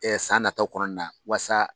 san nataw kɔnɔna waasa